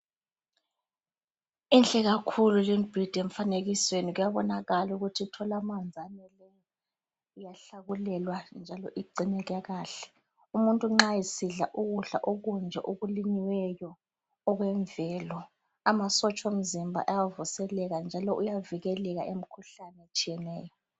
Inhle kakhulu limbhida emfanekisweni kuyabonakala ukuthi ithola amanzi ayeneleyo, iyahlakulelwa njalo igcineke kahle, umuntu nxa esidla ukudla okunje okulinyiweyo okwemvelo amasotsha omzimba ayavuseleka njalo uyavikeleka emkhuhlane etshiyeneyo.